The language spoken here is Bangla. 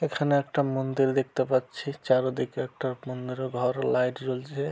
এখানে একটা মন্দির দেখতে পাচ্ছি চারদিকে একটা পনেরো ঘর লাইট জ্বলছে।